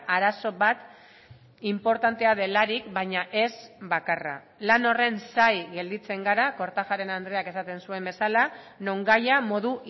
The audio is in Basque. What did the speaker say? arazo bat inportantea delarik baina ez bakarra lan horren zain gelditzen gara kortajarena andreak esaten zuen bezala non gaia modu